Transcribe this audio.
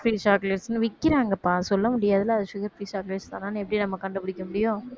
sugar-free chocolate ன்னு விக்கறாங்கப்பா சொல்ல முடியாதுல்ல அது sugar-free chocolates தானா எப்படி நம்ம கண்டுபிடிக்க முடியும்